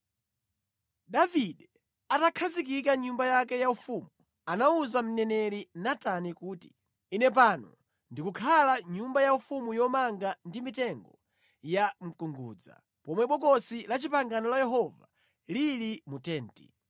Davide atakhazikika mʼnyumba yake yaufumu, anawuza mneneri Natani kuti, “Ine pano ndikukhala mʼnyumba yaufumu yomanga ndi mitengo ya mkungudza, pomwe Bokosi la Chipangano la Yehova lili mu tenti.”